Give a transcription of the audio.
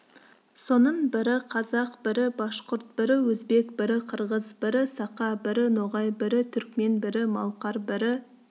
соның бірі қазақ бірі башқұрт бірі өзбек бірі қырғыз бірі сақа бірі ноғай бірі түрікмен бірі малқар бірі